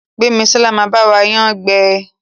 Gbemisola má ba wa yán gbé.